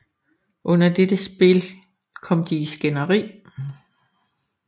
Under dette spil kom de i skænderi